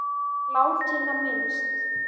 Látinna minnst.